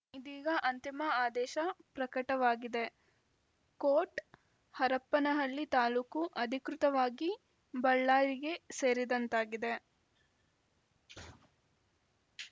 ಇದೀಗ ಅಂತಿಮ ಆದೇಶ ಪ್ರಕಟವಾಗಿದೆ ಕೋಟ್‌ ಹರಪನಹಳ್ಳಿ ತಾಲೂಕು ಅಧಿಕೃತವಾಗಿ ಬಳ್ಳಾರಿಗೆ ಸೇರಿದಂತಾಗಿದೆ